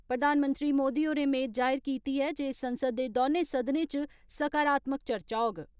प्रधानमंत्री मोदी होरें मेद जाहिर कीती ऐ जे संसद दे दौनें सदनें इच सकारात्मक चर्चा होग।